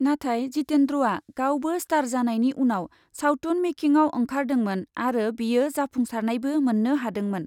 नाथाय जितेन्द्रआ गावबो स्टार जानायनि उनाव सावथुन मेकिंआव ओंखारदोंमोन आरो बियो जाफुंसारनायबो मोन्नो हादोंमोन ।